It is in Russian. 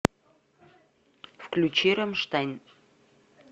включи рамштайн